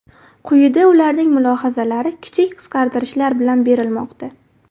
Quyida ularning mulohazalari kichik qisqartirishlar bilan berilmoqda.